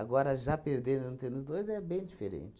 já perdendo, não tendo os dois, é bem diferente.